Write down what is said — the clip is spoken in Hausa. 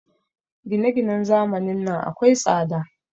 Gine-ginen zamanin nan akwai tsada.